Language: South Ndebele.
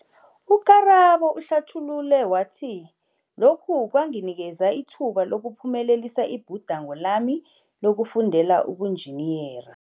U-Karabo uhlathulule wathi, Lokhu kwanginikela ithuba lokuphumelelisa ibhudango lami lokufundela ubunjiniyera.